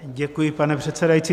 Děkuji, pane předsedající.